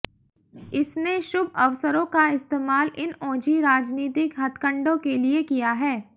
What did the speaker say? इसने शुभ अवसरों का इस्तेमाल इन ओछी राजनीतिक हथकंडों के लिए किया है